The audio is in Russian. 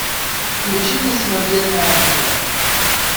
включи мне смертельное оружие